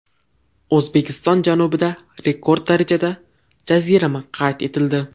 O‘zbekiston janubida rekord darajadagi jazirama qayd etildi.